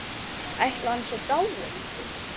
Ætli hann sé dáinn.